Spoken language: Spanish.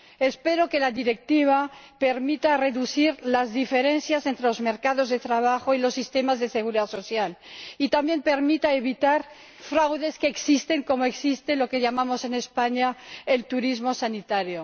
Espero que la Directiva permita reducir las diferencias entre los mercados de trabajo y los sistemas de seguridad social y también permita evitar fraudes que existen, como existe lo que llamamos en España el turismo sanitario.